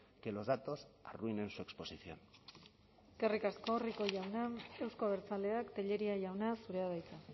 que los datos arruinen su exposición eskerrik asko rico jauna euzko abertzaleak telleria jauna zurea da hitza